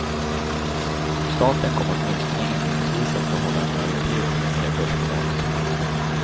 Staten kommer åtminstone inledningsvis att behålla en majoritet i det nya börsbolaget.